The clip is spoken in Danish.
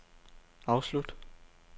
afslut